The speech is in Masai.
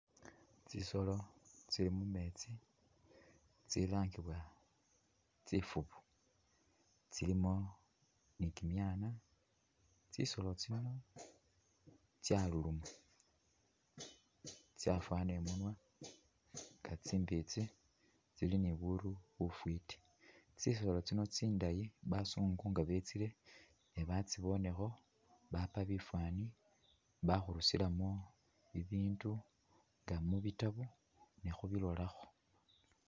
Tsisolo tsili mumetsi tsilangiwa tsifubu kyilimo ni kyimyana, tsisolo tsino tsaluluma ,tsafwana imunwa nga tsimbitsi ,tsili ni buru bufiti , tsisolo tsino tsindayi bazungu nga bitsile nebatsibonekho bapa bifani bakhurusilamo bibindu mubitabo ne’khubilolakho.